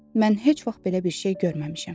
Mən heç vaxt belə bir şey görməmişəm.